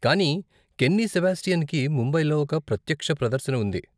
కానీ కెన్నీ సెబాస్టియన్కి ముంబైలో ఒక ప్రత్యక్ష ప్రదర్శన ఉంది.